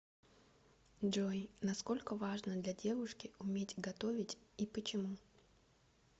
джой насколько важно для девушки уметь готовить и почему